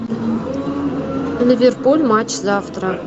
ливерпуль матч завтра